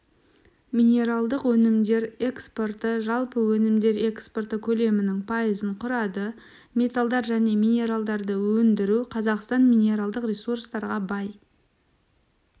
минералдық өнімдер экспорты жалпы өнімдер экспорты көлемінің пайызын құрады металдар және минералдарды өндіру қазақстан минералдық ресурстарға бай